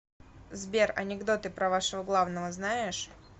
сбер анекдоты про вашего главного знаешь